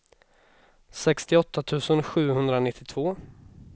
sextioåtta tusen sjuhundranittiotvå